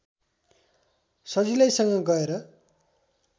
सजिलैसँग गएर